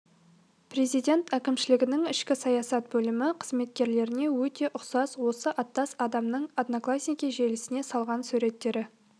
президент әкімшілігінің ішкі саясат бөлімі қызметкеріне өте ұқсас осы аттас адамның одноклассники желісіне салған суреттері